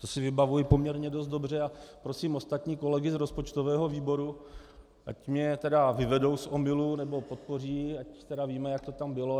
To si vybavuji poměrně dost dobře a prosím ostatní kolegy z rozpočtového výboru, ať mě tedy vyvedou z omylu, nebo podpoří, ať tedy víme, jak to tam bylo.